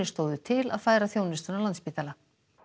stóðu til að færa þjónustuna á Landspítala